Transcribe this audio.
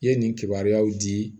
I ye nin kibaruyaw di